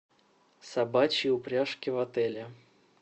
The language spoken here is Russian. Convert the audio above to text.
собачьи упряжки в отеле